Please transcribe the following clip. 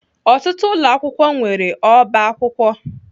Ọtụtụ ụlọ akwụkwọ nwere ọba akwụkwọ.